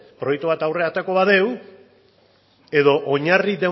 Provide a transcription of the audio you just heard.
proiektu bat aurrera aterako badugu edo oinarri